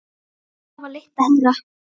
Það var leitt að heyra.